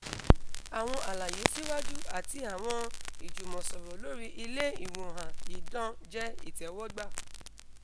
awọn alaye siwaju ati awọn ijumọsọrọ lori ile iwoan idan jẹ itẹwọgba